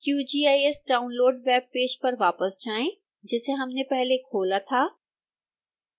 qgis download web page पर वापस जाएं जिसे हमने पहले खोला था